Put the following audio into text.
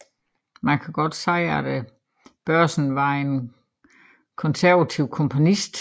Man kan godt sige at Børresen var en konservativ komponist